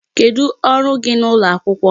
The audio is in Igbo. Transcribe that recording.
Kedụ ọrụ gị n'ụlọ akwụkwọ?